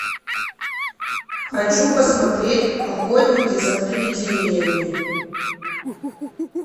хочу посмотреть охотники за привидениями